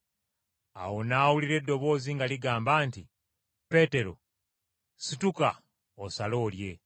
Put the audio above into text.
Awo n’awulira eddoboozi nga ligamba nti, “Peetero, situka osale, olye!”